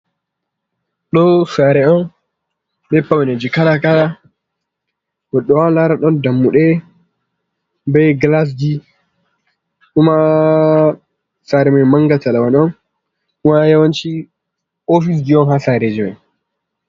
Do sare'un be paune ji kala kala goddo wawan lara don dammude be glasji, kuma Sare mai manga talawanon, kuma a yawanci ofisji un hasareji man.